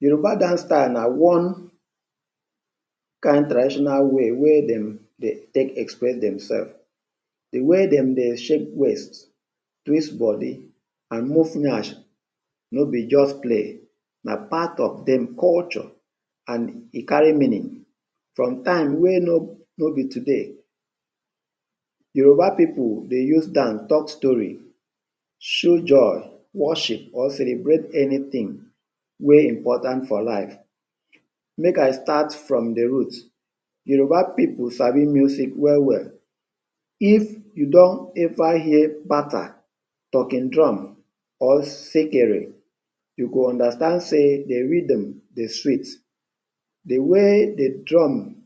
Yoruba dance style na one kind traditional way wey dem dey take express themself. De way dem dey shake waist, twist body and move yansh no be just play. Na part of dem culture and e carry meaning from time wey no no be today. Yoruba pipu dey use dance talk story, show joy, worship or celebrate anything wey important for life. Make I start from the root. Yoruba pipu sabi music well-well. If you don ever hear kpata, talking drum or sekere, you go understand sey the rhythm dey sweet. De way de drum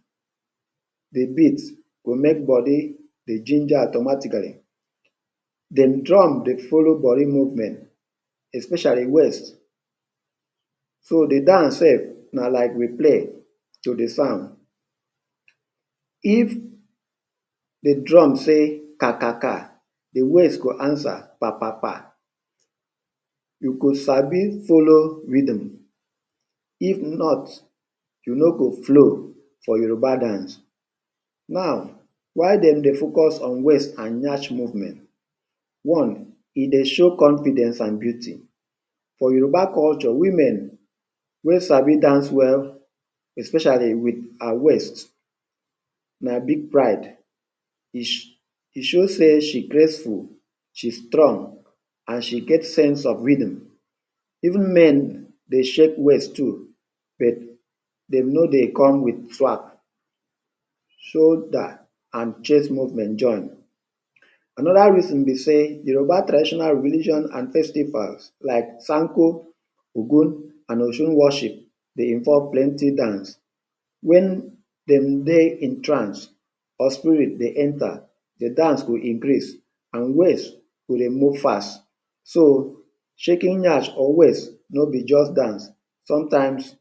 dey beat go make body dey ginger automatically. De drum dey follow body movement, especially waist. So the dance sef na like replay to the sound. If de drum say ‘kakaka’, de waist go answer ‘papapa’. You go sabi follow rhythm, if not, you no go flow for Yoruba dance. Now, why dem dey focus on waist and yansh movement? One. E dey show confidence and beauty. For Yoruba culture, women wey sabi dance well, especially with her waist, na big pride. E e show sey she graceful, she strong and she get sense of rhythm. Even men dey shake waist too, but dem no dey come with. Shoulder and chest movement join. Another reason be sey, Yoruba traditional religion and festivals like Sanko, Ogun and Osun worship dey involve plenty dance. When dem dey in trance or spirit dey enter, de dance go increase and waist go dey move fast. So, shaking yansh or waist no be just dance, sometimes,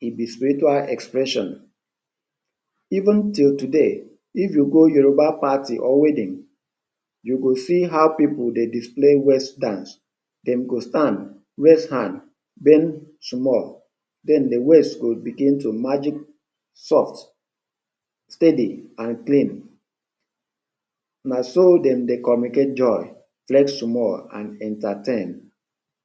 e be spiritual expression. Even till today, if you go Yoruba party or wedding, you go see how pipu dey display waist dance. Dem go stand, raise hand, bend small, then de waist go begin to soft, steady and clean. Na so dem dey communicate joy, flex small and entertain.